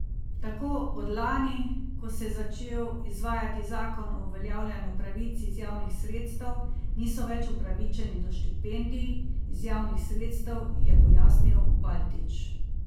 Tako od lani, ko se je začel izvajati zakon o uveljavljanju pravic iz javnih sredstev, niso več upravičeni do štipendij iz javnih sredstev, je pojasnil Baltić.